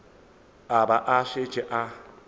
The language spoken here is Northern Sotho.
a ba a šetše a